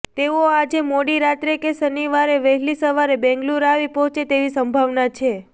તેઓ આજે મોડી રાત્રે કે શનિવારે વહેલી સવારે બેંગલુરૂ આવી પહોંચે તેવી સંભાવના છે